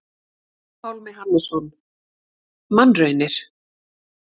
Pálmi Hannesson: Mannraunir.